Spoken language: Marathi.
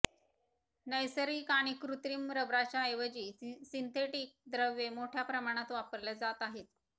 नैसर्गिक किंवा कृत्रिम रबराच्या ऐवजी सिंथेटिक द्रव्ये मोठ्या प्रमाणात वापरल्या जात आहेत